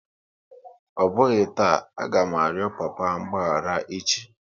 Ọ bụghị taa, a ga m arịọ papa mgbaghara echi!